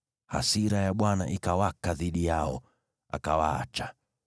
Hasira ya Bwana ikawaka dhidi yao, akawaacha.